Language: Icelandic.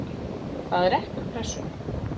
Það er ekki úr Pressunni.